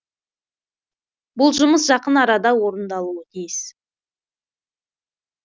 бұл жұмыс жақын арада орындалуы тиіс